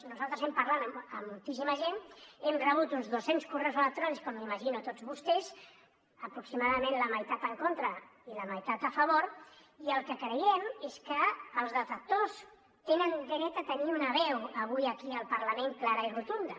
nosaltres hem parlat amb moltíssima gent hem rebut uns dos cents correus electrònics com m’imagino tots vostès aproximadament la meitat en contra i la meitat a favor i el que creiem és que els detractors tenen dret a tenir una veu avui aquí al parlament clara i rotunda